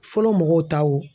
Fɔlɔ mɔgɔw ta wo.